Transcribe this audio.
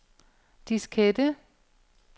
diskette